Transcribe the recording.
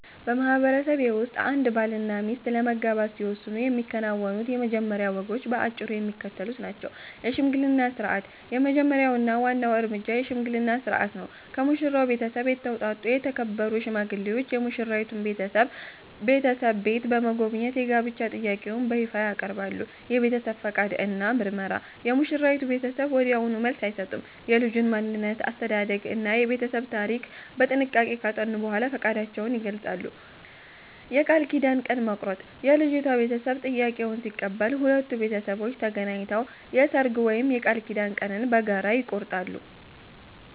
በማህበረሰቤ ውስጥ አንድ ባልና ሚስት ለመጋባት ሲወስኑ የሚከናወኑት የመጀመሪያ ወጎች በአጭሩ የሚከተሉት ናቸው፦ የሽምግልና ሥርዓት፦ የመጀመሪያው እና ዋናው እርምጃ የሽምግልና ሥርዓት ነው። ከሙሽራው ቤተሰብ የተውጣጡ የተከበሩ ሽማግሌዎች የሙሽራይቱን ቤተሰብ ቤት በመጎብኘት የጋብቻ ጥያቄውን በይፋ ያቀርባሉ። የቤተሰብ ፈቃድ እና ምርመራ፦ የሙሽራይቱ ቤተሰብ ወዲያውኑ መልስ አይሰጡም። የልጁን ማንነት፣ አስተዳደግ እና የቤተሰቡን ታሪክ በጥንቃቄ ካጠኑ በኋላ ፈቃዳቸውን ይገልጻሉ። የቃል ኪዳን ቀን መቁረጥ፦ የልጅቷ ቤተሰብ ጥያቄውን ሲቀበሉ፣ ሁለቱ ቤተሰቦች ተገናኝተው የሰርግ ወይም የቃል ኪዳን ቀንን በጋራ ይቆርጣሉ።